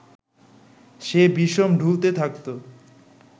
সে বিষম ঢুলতে থাকত